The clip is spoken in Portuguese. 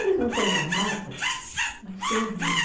Eles não têm mais mata, mas têm o mar.